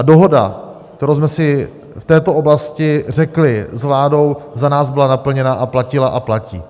A dohoda, kterou jsme si v této oblasti řekli s vládou, za nás byla naplněna a platila a platí.